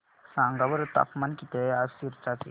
सांगा बरं तापमान किती आहे आज सिरसा चे